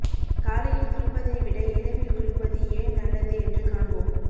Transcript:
காலையில் குளிப்பதை விட இரவில் குளிப்பது ஏன் நல்லது என்று காண்போம்